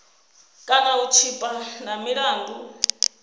kana u tshipa na milandu